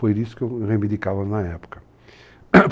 Foi isso que eu reivindicava na época.